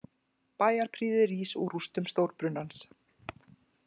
Bæjarprýði rís úr rústum stórbrunans